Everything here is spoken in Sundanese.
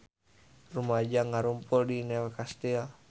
Rumaja ngarumpul di New Castle